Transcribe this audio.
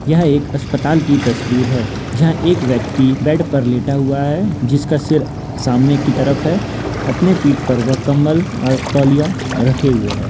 यह एक अस्पताल की तस्वीर है जहा एक व्यक्ति बेड पर लेटा हुआ है जिसका सिर सामने की तरफ है अपने पीठ पर वो कंबल और तौलिया रखे हुए है।